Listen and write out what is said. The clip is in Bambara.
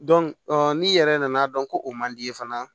n'i yɛrɛ nana dɔn ko o man di i ye fana